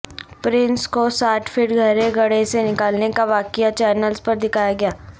prince کو ساٹھ feet گہرے گڑھے سے نکالنے کا واقعہ چینلز پر دکھایا گیا